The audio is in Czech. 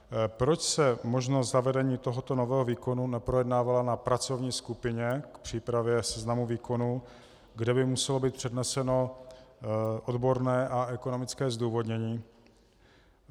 Proč se možnost zavedení tohoto nového výkonu neprojednávala na pracovní skupině k přípravě seznamu výkonů, kde by muselo být předneseno odborné a ekonomické zdůvodnění?